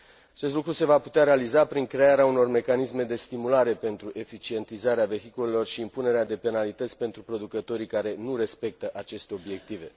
Acest lucru se va putea realiza prin crearea unor mecanisme de stimulare pentru eficientizarea vehiculelor și impunerea de penalități pentru producătorii care nu respectă aceste obiective.